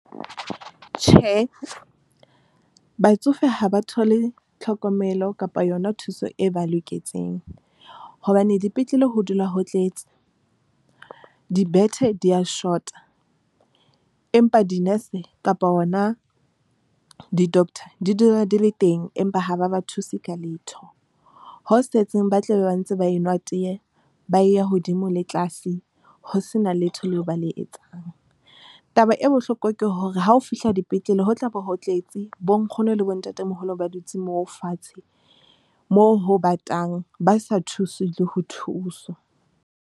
Tjhe, batsofe ha ba thole tlhokomelo kapa yona thuso e ba loketseng hobane dipetlele ho dula ho tletse dibethe di ya shota. Empa di-nurse kapa hona di-doctor di dula di le teng, empa ha ba ba thuse ka letho. Ho setseng, ba tlabe ba ntse ba enwa teye ba ya hodimo le tlase ho sena letho leo ba le etsang. Taba e bohloko ke hore ha o fihla dipetlele ho tlabo, ho tletse bo nkgono le bo ntatemoholo, ba dutse moo fatshe moo ho batang, ba sa thuswi le ho thuswa.